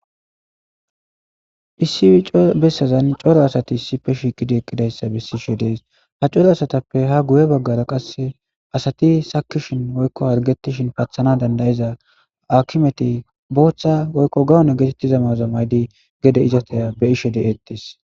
Issi bessan cora asati eeqiddi besishe de'es aachire asatappe ha guye baggara qase asati saakishin woykko harggetishin paththanas woykko hakimetti booththa mayo woykko gawonne geettetiza mayoza gedde besishe de'es